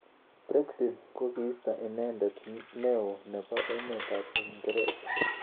Brexit kokiisto inendet neo nebo emet ab Uingereza.